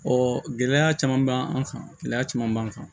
gɛlɛya caman b'an kan gɛlɛya caman b'an kan